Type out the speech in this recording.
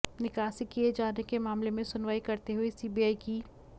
निकासी किये जाने के मामले में सुनवाई करते हुए सीबीआई की